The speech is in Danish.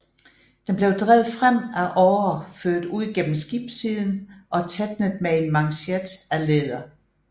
Det blev drevet frem af årer ført ud gennem skibssiden og tætnet med en manchet af læder